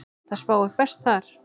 Það spáir best þar.